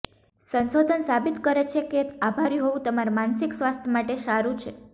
સંશોધન સાબિત કરે છે કે આભારી હોવું તમારા માનસિક સ્વાસ્થ્ય માટે સારું છે